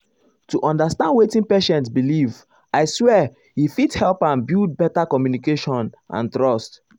to understand wetin patient believe i swear he fit help ehm build better communication and trust.